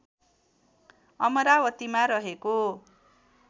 अमरावतीमा रहेको